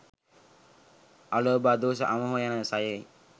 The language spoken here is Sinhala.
අලෝභ, අදෝස, අමෝහ යන සයයි.